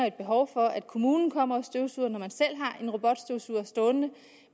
et behov for at kommunen kommer og støvsuger når man selv har en robotstøvsuger stående